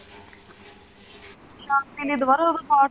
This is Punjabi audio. ਸ਼ਾਂਤੀ ਲਈ ਦੁਬਾਰਾ ਹੁਣ ਪਾਠ।